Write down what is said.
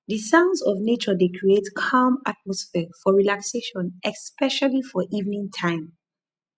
di sounds of nature dey create calm atmosphere for relaxation especially for evening time